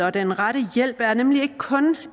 og den rette hjælp er nemlig ikke kun